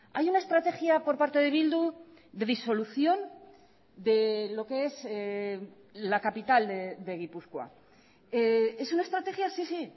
hay una estrategia por parte de bildu de disolución de lo que es la capital de gipuzkoa es una estrategia sí sí